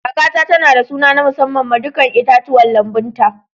Kakata tana da suna na musamman ma dukan itatuwan lambun ta.